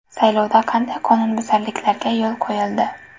Saylovda qanday qonunbuzarliklarga yo‘l qo‘yildi?